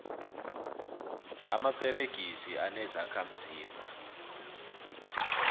amaperegisi anezokha mzimba